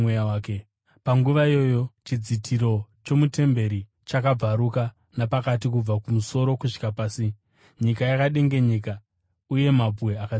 Panguva iyoyo chidzitiro chomutemberi chakabvaruka napakati kubva kumusoro kusvika pasi. Nyika yakadengenyeka, uye mabwe akatsemuka.